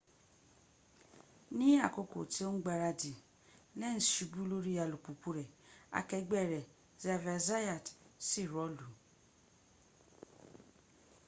ní àkókò tí ó ń gbáradì lenz subu lórí alùpùpù rẹ̀ akẹgbẹ́ rẹ̀ xavier zayat sì rọ́ọ̀lú